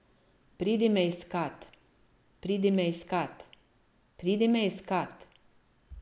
Pridi me iskat, pridi me iskat, pridi me iskat.